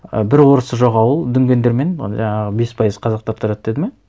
і бір орысы жоқ ауыл дүнгендер мен жаңағы бес пайыз қазақтар тұрады деді ме